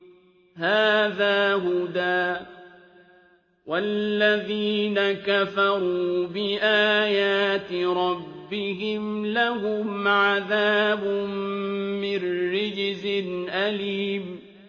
هَٰذَا هُدًى ۖ وَالَّذِينَ كَفَرُوا بِآيَاتِ رَبِّهِمْ لَهُمْ عَذَابٌ مِّن رِّجْزٍ أَلِيمٌ